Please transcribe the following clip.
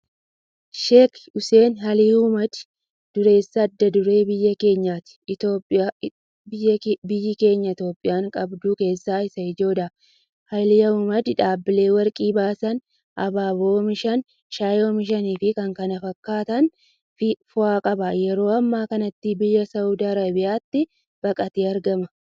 Sheek Hussein Alii Al-haammuuddiin durreessa adda duree biyyi keenya Itiyoophiyaan qabdu keessaa isa ijoodha. Al-Haammuuddiin dhaabbilee Warqii baasan, Abaaboo oomishan, Shaayii oomishaniifi kan kana fakkaatan fa'a qaba. Yeroo ammaa kanatti biyya Saawudii Arabiyaatti baqatee argama.